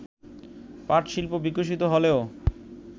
পাটশিল্প বিকশিত হলেও